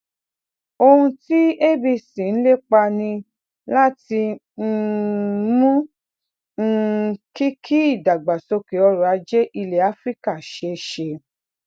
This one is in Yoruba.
ohun tí abc ń lépa ni láti um mú um kí kí ìdàgbàsókè ọrọ ajé ilẹ áfíríkà ṣeé ṣe